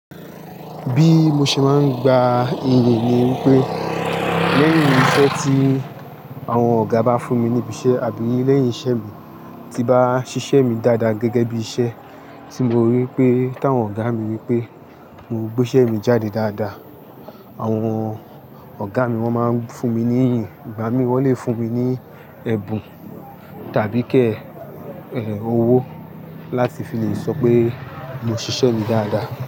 Bí mo ṣe ń gba iyì ni wipé, lẹ́yìn iṣẹ́ tí àwọn ọ̀gá bá fún mi ní ibi iṣẹ́ àbí lẹ́yìn iṣẹ́ mi tí bá ṣiṣẹ́ mi dáadáa gẹ́gẹ́ bí iṣẹ́ tí mo rí pé táwọn ọ̀gá mi rí pé mo gbé iṣẹ́ mi jáde dáadáa, àwọn ọ̀gá mi wọ́n máa ń fún mi ní iyì. Ìgbá mi, wọ́n lè fún mi ní ẹ̀bùn tàbí kí ẹ̀, owó láti fi lè sọ pé mo ṣiṣẹ́ mi dáadáa.